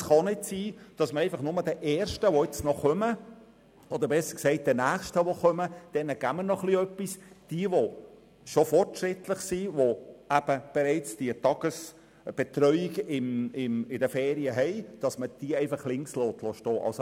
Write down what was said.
Es kann auch nicht sein, dass den Ersten, die kommen oder besser gesagt, den Nächsten, die kommen, etwas gegeben wird und die Fortschrittlichen, die bereits eine Tagesbetreuung während den Ferien haben, einfach links liegen gelassen werden.